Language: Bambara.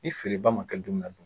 Ni feereba ma kɛ donmina don?